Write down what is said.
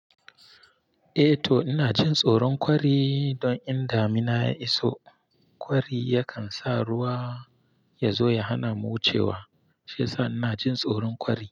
Eh to ina jin tsoron kwari don in damina ya iso kwari yakan sa ruwa ya zo ya hana mu wucewa shiyasa ina jin tsoron kwari.